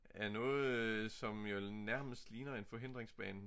Af noget som jo nærmest ligner en forhindringsbane